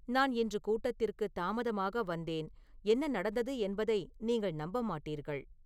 நான் இன்று கூட்டத்திற்கு தாமதமாக வந்தேன் என்ன நடந்தது என்பதை நீங்கள் நம்ப மாட்டீர்கள்